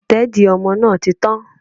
Ìtẹ́dìí ọmọ náà ti tán